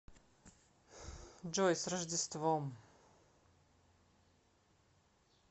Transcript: джой с рождеством